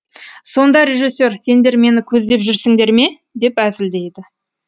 сонда режиссер сендер мені көздеп жүрсіңдер ме деп әзілдейді